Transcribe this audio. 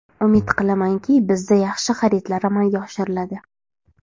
Umid qilamanki, bizda yaxshi xaridlar amalga oshiriladi.